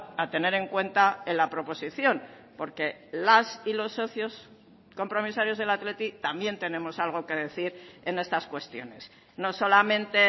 a tener en cuenta en la proposición porque las y los socios compromisarios del athletic también tenemos algo que decir en estas cuestiones no solamente